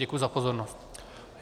Děkuji za pozornost.